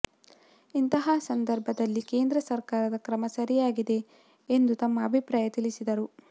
ಇಂತಹ ಸಂಧರ್ಭದಲ್ಲಿ ಕೇಂದ್ರ ಸರ್ಕಾರದ ಕ್ರಮ ಸರಿಯಾಗಿದೆ ಎಂದು ತಮ್ಮ ಅಭಿಪ್ರಾಯ ತಿಳಿಸಿದರು